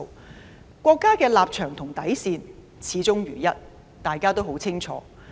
大家十分清楚國家的立場和底線，始終如一。